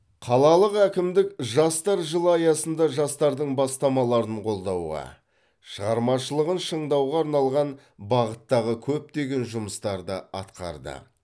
қалалық әкімдік жастар жылы аясында жастардың бастамаларын қолдауға шығармашылығын шыңдауға арналған бағыттағы көптеген жұмыстарды атқарды